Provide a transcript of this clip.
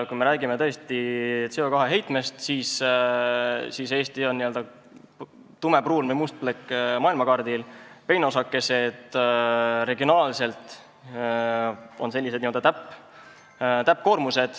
Kui me räägime CO2 heitmetest, siis Eesti on n-ö tumepruun või must plekk maailmakaardil, peenosakesed on regionaalselt n-ö täppkoormus.